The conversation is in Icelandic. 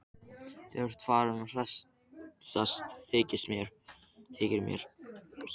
Þú ert farinn að hressast, þykir mér!